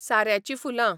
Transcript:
साऱ्याचीं फुलां